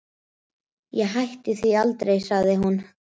Ég hætti því aldrei, sagði hún.